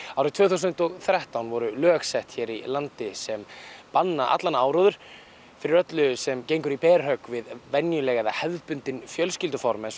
árið tvö þúsund og þrettán voru lög sett hér í landi sem banna allan áróður fyrir öllu sem gengur í berhögg við venjuleg eða hefðbundin fjölskylduform eins og